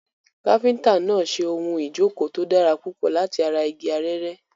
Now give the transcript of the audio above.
Káfíńtà náà ń ṣe ohun ìjókòó tó dára púpọ̀ láti ara igi arère.